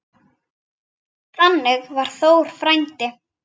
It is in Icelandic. Þannig var Þór frændi.